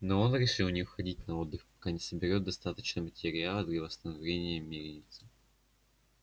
но он решил не уходить на отдых пока не собереёт достаточно материала для восстановления мельницы